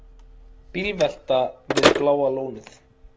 Bílvelta við Bláa lónið